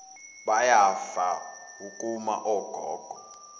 bayafa wukuma ogogo